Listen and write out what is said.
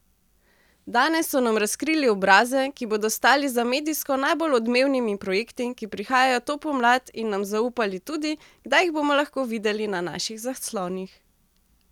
Danes so nam razkrili obraze, ki bodo stali za medijsko najbolj odmevnimi projekti, ki prihajajo to pomlad in nam zaupali tudi, kdaj jih bomo lahko videli na naših zaslonih.